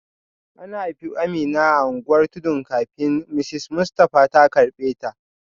An haifi Amina a unguwar tudu kafin Mrs Mustafa ta karbe ta